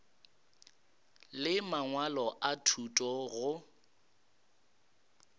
le mangwalo a thuto go